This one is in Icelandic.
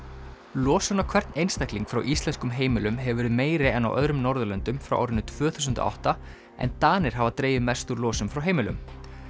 losun á hvern einstakling frá íslenskum heimilum hefur verið meiri en á öðrum Norðurlöndum frá árinu tvö þúsund og átta en Danir hafa dregið mest úr losun frá heimilum